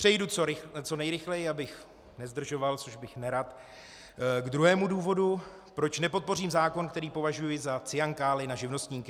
Přejdu co nejrychleji, abych nezdržoval, což bych nerad, k druhému důvodu, proč nepodpořím zákon, který považuji za cyankáli na živnostníky.